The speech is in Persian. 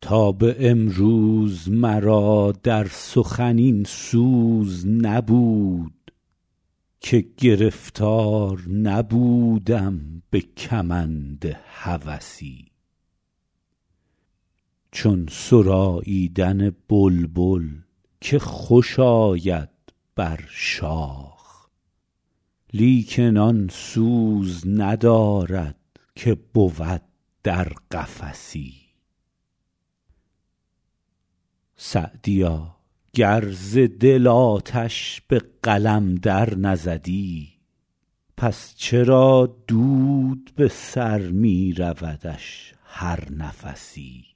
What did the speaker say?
تا به امروز مرا در سخن این سوز نبود که گرفتار نبودم به کمند هوسی چون سراییدن بلبل که خوش آید بر شاخ لیکن آن سوز ندارد که بود در قفسی سعدیا گر ز دل آتش به قلم در نزدی پس چرا دود به سر می رودش هر نفسی